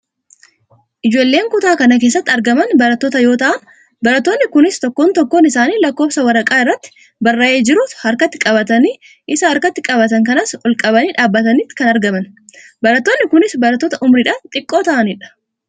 Ijoolleen kutaa kana keessatti argaman barattoota yoo ta'an barattoonni kunis tokkoon tokkoon isaanii lakkoofsa waraqaa irratti barraa'ee jiru harkatti qabatanii isa harkatti qabatan kanas olqabanii dhaabataniiti kan argaman. Barattoonni kunis barattoota umuriidhaan xiqqoo ta'anidha.